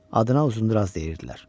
adına Uzundraz deyirdilər.